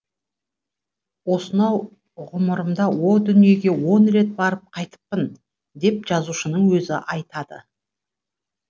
осынау ғұмырымда о дүниеге он рет барып қайтыппын деп жазушының өзі айтады